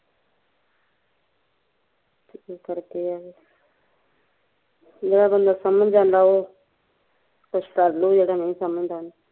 ਇਸੇ ਕਰਕੇ ਈ ਆ ਜਿਹਦਾ ਬੰਦਾ ਸਮਜ ਜਾਂਦਾ ਉਹ ਕੁਸ਼ ਕਰਲੂ ਜਿਹਦਾ ਨਹੀਂ ਸਮਜਦਾ